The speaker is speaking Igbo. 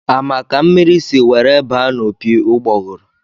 A ma ka mmiri si were baa n'opi ugboguru?